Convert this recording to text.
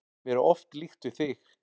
Mér er oft líkt við þig.